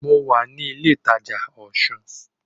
Mo wà ní ilé ìtajà Osun